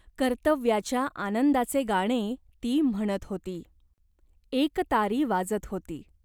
कर्तव्याच्या आनंदाचे गाणे ती म्हणत होती. एकतारी वाजत होती.